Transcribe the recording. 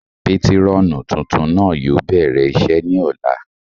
Patirọnu tuntun náà yóò bẹrẹ iṣe ni ọla